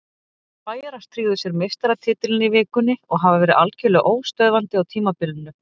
Bæjarar tryggðu sér meistaratitilinn í vikunni og hafa verið algjörlega óstöðvandi á tímabilinu.